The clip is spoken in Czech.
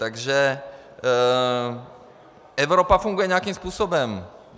Takže Evropa funguje nějakým způsobem.